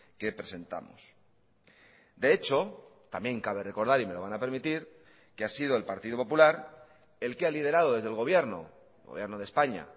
que presentamos de hecho también cabe recordar y me lo van a permitir que ha sido el partido popular el que ha liderado desde el gobierno gobierno de españa